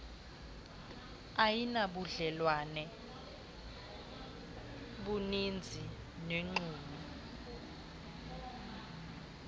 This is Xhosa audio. ayinabudlelwane buninzi nomxumi